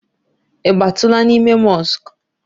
I batula n'ime mosk?